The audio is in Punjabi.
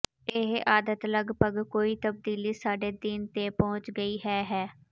ਇਹ ਆਦਤ ਲਗਭਗ ਕੋਈ ਤਬਦੀਲੀ ਸਾਡੇ ਦਿਨ ਤੇ ਪਹੁੰਚ ਗਈ ਹੈ ਹੈ